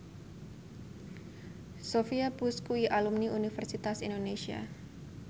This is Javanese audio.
Sophia Bush kuwi alumni Universitas Indonesia